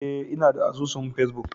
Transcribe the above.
Eh inada asusun face-book.